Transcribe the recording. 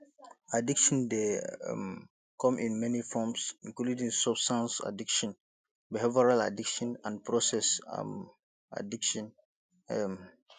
addiction dey um come in many forms including substance addiction behavioral addiction and process um addiction um